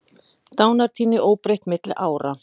Dánartíðni óbreytt milli ára